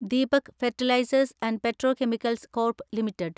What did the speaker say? Deepak fertilisers and petrochemicals corp limited